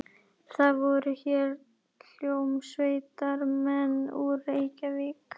Það voru hér hljómsveitarmenn úr Reykjavík.